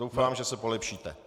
Doufám, že se polepšíte.